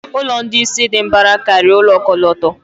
Ụlọ ndị isi dị mbara karịa ụlọ ọkọlọtọ.